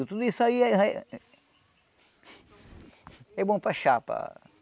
Tudo isso aí... É bom para chapa.